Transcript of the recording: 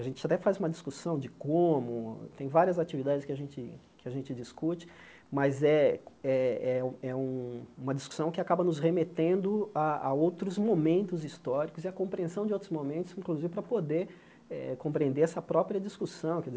A gente até faz uma discussão de como, tem várias atividades que a gente que a gente discute, mas é é é um uma discussão que acaba nos remetendo a a outros momentos históricos e a compreensão de outros momentos, inclusive para poder eh compreender essa própria discussão.